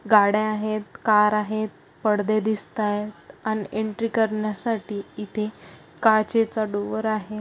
गाड्या आहेत कार आहेत. पडदे दिसतायत अन् एन्ट्री करण्या साठी इथे काचेचा डोअर आहे.